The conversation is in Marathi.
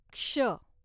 क्ष